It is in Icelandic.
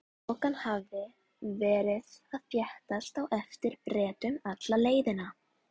Þokan hafði verið að þéttast á eftir Bretum alla leiðina.